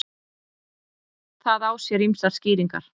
Það á sér ýmsar skýringar.